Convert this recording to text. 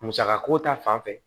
Musaka ko ta fanfɛ